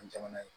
An jamana ye